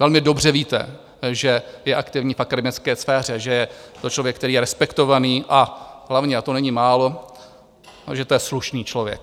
Velmi dobře víte, že je aktivní v akademické sféře, že je to člověk, který je respektovaný, a hlavně - a to není málo - že to je slušný člověk.